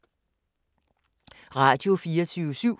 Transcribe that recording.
Radio24syv